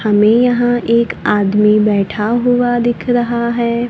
हमें यहां एक आदमी बैठा हुआ दिख रहा है।